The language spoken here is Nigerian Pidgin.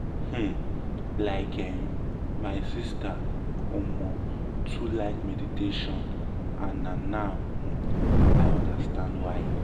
um like eh my sister um too like meditation and na now um i um understand why.